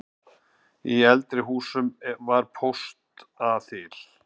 Í eldri húsum var póstaþil.